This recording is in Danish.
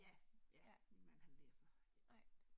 Ja, ja min mand han læser